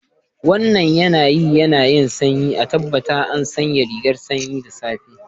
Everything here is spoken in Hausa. Wannan yanayi yayi sanyi, a tabbata an sanya rigar sanyi da safa.